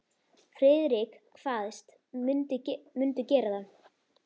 Friðrik kvaðst mundu gera það.